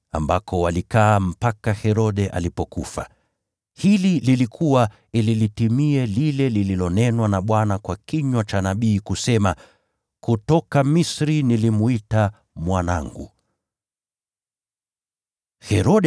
ambako walikaa mpaka Herode alipofariki. Hili lilifanyika ili litimie lile lililonenwa na Bwana kwa kinywa cha nabii kusema: “Nilimwita mwanangu kutoka Misri.”